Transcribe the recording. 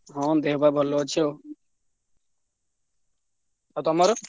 ହଁ ଦେହ ପା ଭଲ ଅଛି ଆଉ। ଆଉ ତମର?